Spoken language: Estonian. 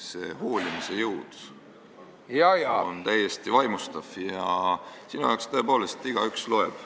See hoolimise jõud on täiesti vaimustav ja sinu jaoks tõepoolest igaüks loeb.